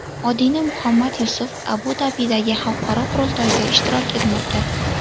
Odina Muhammad Yusuf Abu-Dabidagi xalqaro qurultoyda ishtirok etmoqda.